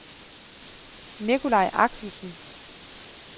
Nicolaj Axelsen